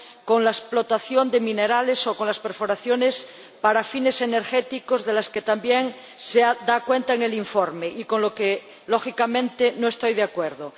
con la explotación de minerales o con las perforaciones para fines energéticos, de las que también se da cuenta en el informe y con lo que, lógicamente, no estoy de acuerdo.